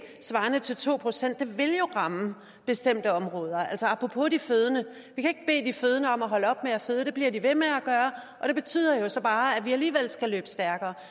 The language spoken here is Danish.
svarende til to procent jo vil ramme bestemte områder altså apropos er de fødende om at holde op med at føde det bliver de ved med at gøre og det betyder så bare at man alligevel skal løbe stærkere